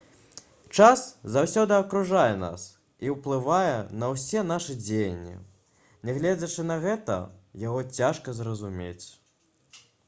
час заўсёды акружае нас і ўплывае на ўсе нашы дзеянні нягледзячы на гэта яго цяжка зразумець